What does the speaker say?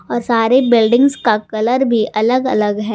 और सारी बिल्डिंग्स का कलर भी अलग अलग है।